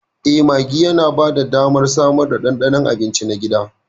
Eh, maggi yana ba da damar samar da daddaɗan abinci na gida.